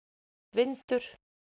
vindur